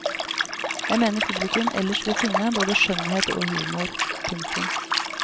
Jeg mener publikum ellers vil finne både skjønnhet og humor. punktum